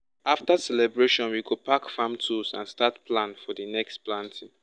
after celebration we go pack farm tools and start plan for the next planting.